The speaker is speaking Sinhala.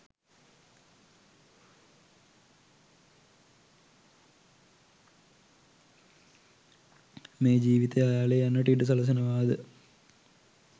මේ ජීවිතය අයාලේ යන්නට ඉඩ සලසනවාද?